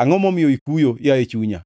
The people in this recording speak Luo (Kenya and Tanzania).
Angʼo momiyo ikuyo, yaye chunya?